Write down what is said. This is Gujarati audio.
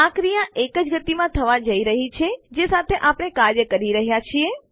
આ ક્રિયા એ જ ગતિમાં થવા જઈ રહી છે જે સાથે આપણે કાર્ય કરી રહ્યા છીએ